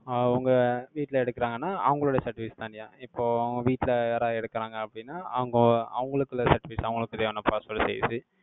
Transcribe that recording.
ஆஹ் உங்க வீட்டுல எடுக்குறாங்கன்னா, அவங்களுடைய certificates தனியா இப்போ, அவங்க வீட்டுல, யாராவது எடுக்கிறாங்க, அப்படின்னா, அவங்க, அவங்களுக்குள்ள certificate, அவங்களுக்குரிய possibility இது.